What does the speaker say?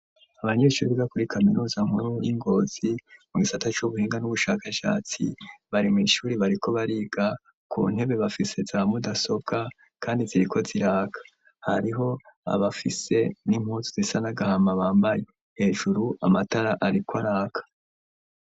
Abanyeshure biga kuri kaminuza nkuru y'ingozi mu gisata c'ubuhinga n'ubushakashatsi bari mw'ishure bariko bariga ku ntebe bafise za mudasobwa kandi ziriko ziraka hariho abafise n'impuzu zisa n'agahama bambaye hejuru amatara ariko araka.